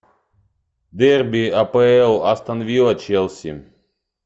дерби апл астон вилла челси